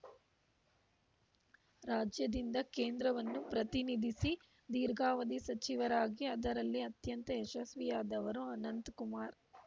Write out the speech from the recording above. ರಾಜ್ಯದಿಂದ ಕೇಂದ್ರವನ್ನು ಪ್ರತಿನಿಧಿಸಿ ದೀರ್ಘಾವಧಿ ಸಚಿವರಾಗಿ ಅದರಲ್ಲಿ ಅತ್ಯಂತ ಯಶಸ್ವಿಯಾದವರು ಅನಂತ್‌ಕುಮಾರ್‌